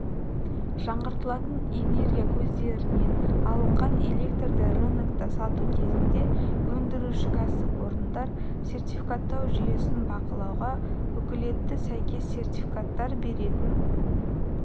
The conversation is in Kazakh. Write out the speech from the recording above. жаңғыртылатын энергия көздерінен алынған электрді рынокта сату кезінде өндіруші-кәсіпорындар сертификаттау жүйесін бақылауға укілетті сәйкес сертификаттар беретін